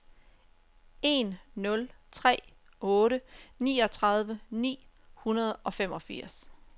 en nul tre otte niogtredive ni hundrede og femogfirs